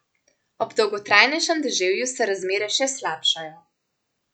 Ob dolgotrajnejšem deževju se razmere še slabšajo.